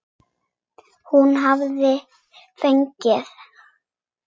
Hún hafði fengið